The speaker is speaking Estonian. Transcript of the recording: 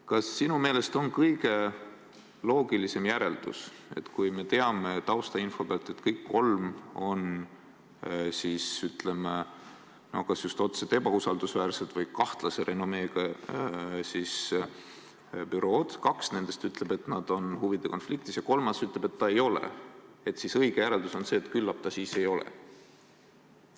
Kas sinu meelest on kõige loogilisem järeldus, et kui me teame taustainfo pealt, et kõik kolm on kas just otseselt ebausaldusväärsed või kahtlase renomeega bürood, kaks nendest ütlevad, et nad on huvide konfliktis, ja kui kolmas ütleb, et ta ei ole, siis õige järeldus on see, et küllap ta siis ei ole?